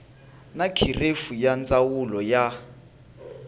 na kherefu ya ndzawulo ya